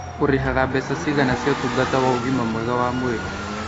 Ũrĩhaga mbeca cigana cia ũtungata wa ũgima mwega wa mwĩrĩ